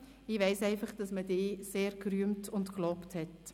Ich weiss einfach, dass man dich sehr gerühmt und gelobt hat.